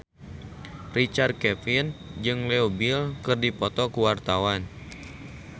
Richard Kevin jeung Leo Bill keur dipoto ku wartawan